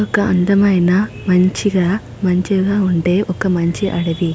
ఒక అందమైన మంచిగా మంచిగా ఉండే ఒక మంచి అడవి.